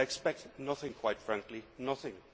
Well, I expect nothing quite frankly, nothing.